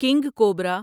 king cobra